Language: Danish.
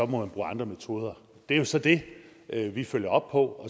man bruge andre metoder det er jo så det vi følger op på